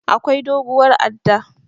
Akwai doguwar adda.